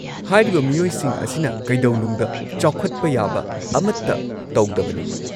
-ꯍꯥꯏꯔꯤꯕ ꯃꯤꯑꯣꯏꯁꯤꯡ ꯑꯁꯤꯅ ꯀꯩꯗꯧꯅꯨꯡꯗ ꯆꯥꯎꯈꯠꯄ ꯌꯥꯕ ꯑꯃꯠꯇ ꯇꯧꯗꯕꯅꯤ꯫